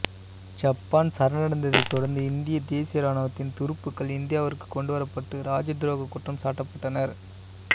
Japan சரணடைந்ததைத் தொடர்ந்து இந்திய தேசிய ராணுவத்தின் துருப்புக்கள் இந்தியாவிற்குக் கொண்டுவரப்பட்டு ராஜதுரோக குற்றம் சாட்டப்பட்டனர்